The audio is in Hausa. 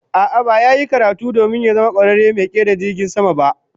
A'a, ba ya yi karatu domin ya zama kwararen mai kera jirgin sama ba